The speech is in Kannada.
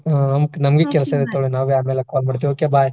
ಹಾ Okay ಹಾ ನಮಗು ಕೆಲ್ಸಾ ಇದೆ ತಗೊಳಿ ನಾವು ಆಮೇಲೆ call ಮಾಡ್ತೇವ್ okay Bye .